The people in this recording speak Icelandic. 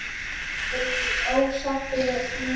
Lillý: Ósáttur við þín kjör?